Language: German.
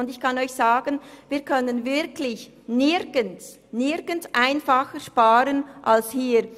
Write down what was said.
Zudem können wir wirklich nirgendwo einfacher sparen als hier.